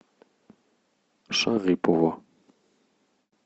шарыпово